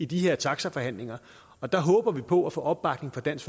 de her taxaforhandlinger og der håber vi på at få opbakning fra dansk